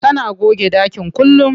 Tana goge ɗakin kullum.